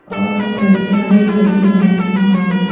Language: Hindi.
और लड़कियां भी खड़ी हैं वहां पे।